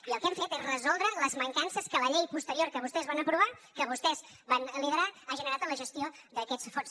i el que hem fet és resoldre les mancances que la llei posterior que vostès van aprovar que vostès van liderar ha generat en la gestió d’aquests fons